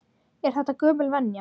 Er þetta gömul venja?